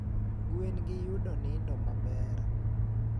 Gwen gi yudo nindo maber